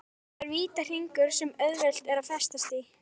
Þetta er vítahringur sem auðvelt er að festast í.